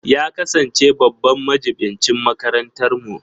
Ya kasance babban majibincin makarantarmu